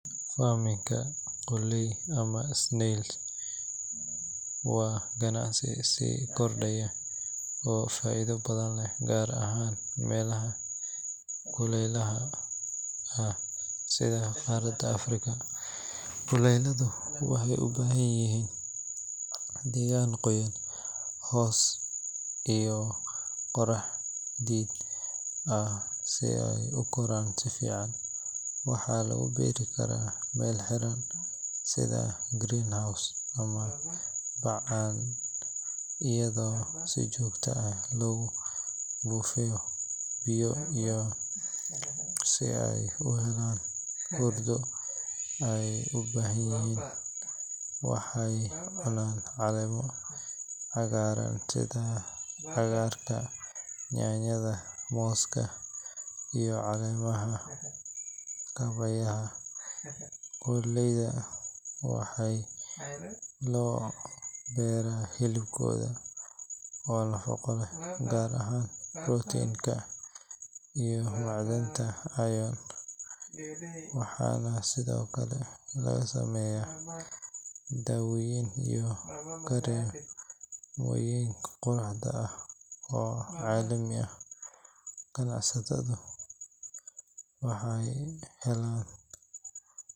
Farmikanka qoolley ama snail waa ganacsi sii kordhaya oo faa’iido badan leh, gaar ahaan meelaha kuleylaha sida qaaradda Afrika. Qoolleydu waxay u baahan yihiin deegaan qoyan, hoos iyo qorax diid ah si ay u koraan si fiican. Waxa lagu beeri karaa meel xiran sida greenhouse ama bacaan, iyadoo si joogto ah lagu buufiyo biyo si ay u helaan huurdo. Waxay u baahan yihiin waxa ay cunaan — caleemo cagaaran sida cagarka yaanyada, mooska, iyo caleemaha. Kabaheyda qoolleyda waxaa loo beeraa hilibkooda oo nafaqo leh, gaar ahaan protein-ka iyo macdanta iron. Waxaana sidoo kale laga sameeyaa dawooyin iyo kareemoyin quruxda oo caalami ah. Ganacsataduna waxay helaan...